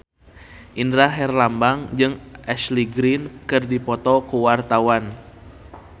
Indra Herlambang jeung Ashley Greene keur dipoto ku wartawan